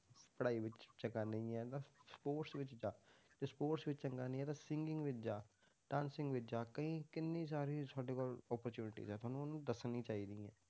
ਪੜ੍ਹਾਈ ਵਿੱਚ ਚੰਗਾ ਨਹੀਂ ਹੈ ਤਾਂ sports ਵਿੱਚ ਜਾ, ਜੇ sports ਵਿੱਚ ਚੰਗਾ ਨਹੀਂ ਹੈ ਤਾਂ singing ਵਿੱਚ ਜਾ dancing ਵਿੱਚ ਜਾ ਕਈ ਕਿੰਨੀ ਸਾਰੀ ਸਾਡੇ ਕੋਲ opportunities ਆ, ਤੁਹਾਨੂੰ ਉਹਨੂੰ ਦੱਸਣੀ ਚਾਹੀਦੀ ਹੈ,